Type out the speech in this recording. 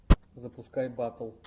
запускай батл